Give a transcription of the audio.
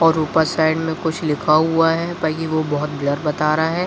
और ऊपर साइड में कुछ लिखा हुआ है ताकि वो बहुत ब्लर बता रहा है।